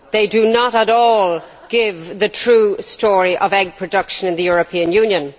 They do not at all give the true story of egg production in the European Union.